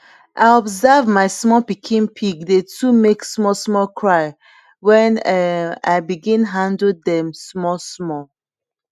i observe ma small pikin pig dey too make small small cry wen um i begin handle dem small small